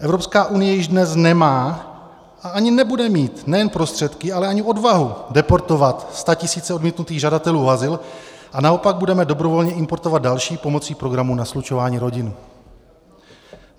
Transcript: Evropská unie již dnes nemá a ani nebude mít nejen prostředky, ale ani odvahu deportovat statisíce odmítnutých žadatelů o azyl a naopak budeme dobrovolně importovat další pomocí programu na slučování rodin.